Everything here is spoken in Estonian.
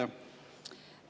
Jaa.